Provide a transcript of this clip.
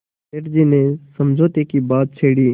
सेठ जी ने समझौते की बात छेड़ी